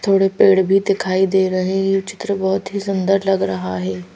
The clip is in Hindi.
थोड़े पेड़ भी दिखाई दे रहे हैं ये चित्र बहुत ही सुंदर लग रहा है।